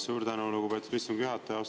Suur tänu, lugupeetud istungi juhataja!